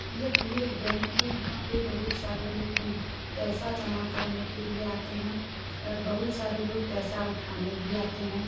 यहाँ एक बँक है। यहां पे बोहोत सारे लोग उ म पैसा जमा करने के लिए आते हैं और बोहोत सारे लोग पैसा उठाने भी आते हैं।